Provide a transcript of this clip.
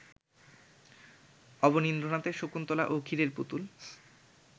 অবনীন্দ্রনাথের শকুন্তলা ও ক্ষীরেরপুতুল